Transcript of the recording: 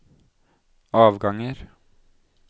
avganger